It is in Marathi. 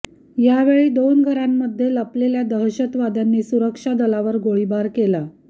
यावेळी दोन घरांमध्ये लपलेल्या दहशतवाद्यांनी सुरक्षा दलावर गोळीबार केला